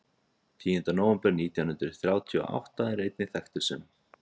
Tíunda nóvember nítján hundruð þrjátíu og átta er einnig þekktur sem?